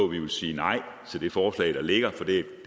vi vil sige nej til det forslag der ligger for det er